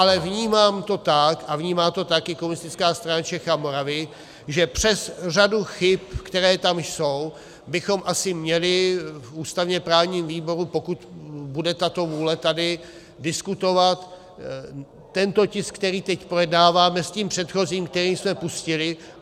Ale vnímám to tak a vnímá to tak i Komunistická strana Čech a Moravy, že přes řadu chyb, které tam jsou, bychom asi měli v ústavně-právním výboru, pokud bude tato vůle tady, diskutovat tento tisk, který teď projednáváme, s tím předchozím, který jsme pustili.